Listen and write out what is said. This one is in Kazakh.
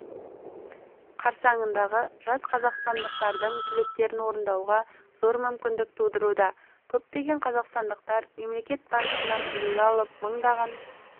қарсаңындағы жас қазақстандықтардың тілектерін орындауға зор мүмкіндік тудыруда көптеген қазақстандықтар мемлекет басшысынан үлгі алып мыңдаған